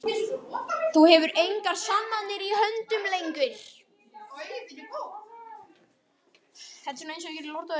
Þú hefur engar sannanir í höndunum lengur.